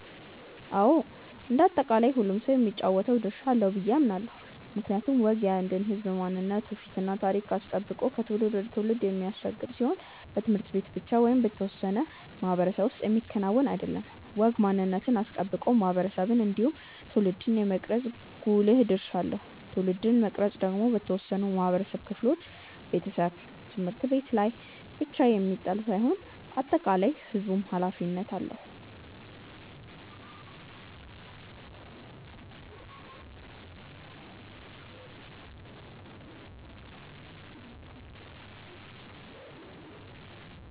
አዎ እንደ አጠቃላይ ሁሉም ሰው የሚጫወተው ድርሻ አለው ብዬ አምናለው። ምክንያቱም ወግ የአንድን ህዝብ ማንነት ትውፊት እና ታሪክ አስጠብቆ ከትውልድ ወደ ትውልድ የሚሻገር ሲሆን በት/ቤት ብቻ ወይም በአንድ የተወሰነ ማህበረሰብ ውስጥ የሚከወን አይደለም። ወግ ማንነትን አስጠብቆ ማህበረሰብን እንዲሁም ትውልድን የመቅረጽ ጉልህ ድርሻ አለው። ትውልድን መቅረጽ ደግሞ በተወሰኑ የማህበረሰብ ክፍሎች (ቤተሰብ፣ ት/ቤት) ላይ ብቻ የሚጣል ሳይሆን የአጠቃላይ የህዝቡም ኃላፊነት ነው።